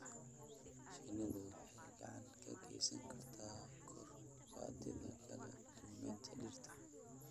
Shinnidu waxay gacan ka geysan kartaa kor u qaadida kala duwanaanta dhirta.